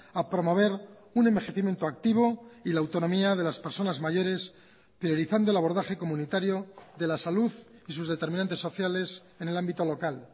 a promover un envejecimiento activo y la autonomía de las personas mayores priorizando el abordaje comunitario de la salud y sus determinantes sociales en el ámbito local